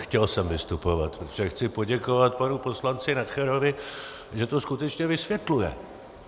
Chtěl jsem vystupovat, protože chci poděkovat panu poslanci Nacherovi, že to skutečně vysvětluje.